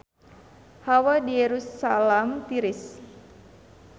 Hawa di Yerusalam tiris